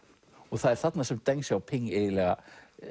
það er þarna sem deng Xiaoping eiginlega